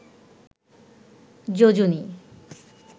যোজনী